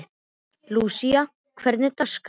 Lúísa, hvernig er dagskráin?